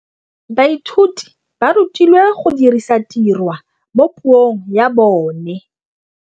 Baithuti ba rutilwe go dirisa tirwa mo puong ya bone.